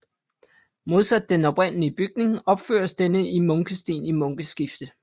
Modsat den oprindelige bygning opføres denne i munkesten i munkeskifte